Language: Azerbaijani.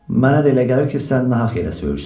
Mənə də elə gəlir ki, sən nahaq yerə söyürsən.